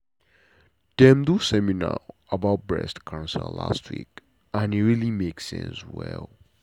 dem do seminar about breast cancer last week and e really make sense well.